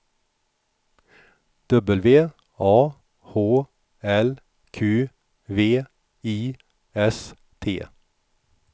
W A H L Q V I S T